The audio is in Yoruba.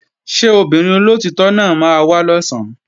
Ṣé obìnrin olóòtítọ́ náà máa wá lọ̀sán?